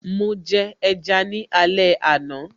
Mo jẹ ẹja ni alẹ́ àná